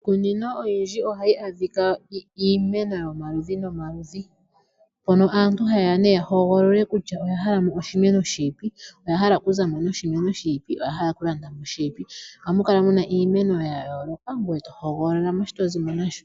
Iikunino oyindji, oha yi adhika iimeno yomaludhi ga yooloka, mpono aantu ha ye ya ne ya hogololepo, kutya oya hala mo oshimeno shini, oya hala oku zamo noshimeno shiipi. Oha mu kala muna iimeno ya yooloka to hogololamo shi to zimo nasho.